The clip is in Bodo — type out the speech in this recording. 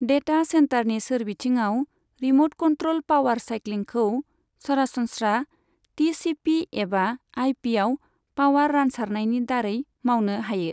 डेटा सेनटारनि सोरबिथिङाव, रिम'ट कन्ट्र'ल पावार साइक्लिंखौ सरासनस्रा टिसिपि एबा आइपिआव पावार रानसारनायनि दारै मावनो हायो।